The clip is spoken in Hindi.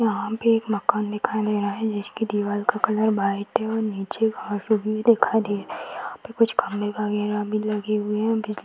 यहाँ पे एक मकान दिखाई दे रहा है जिसके दिवार का कलर व्हाइट है और नीचे घास-उस भी दिखाई दे रही है यहाँ पे कुछ खम्बे वगेरा भी लगे हुए है बिजली --